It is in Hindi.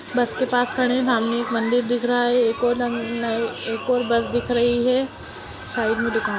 बस के पास खड़ी है सामने एक मंदिर दिख रहा है एक और ल-ल एक और बस दिख रही है साइड में दुकान--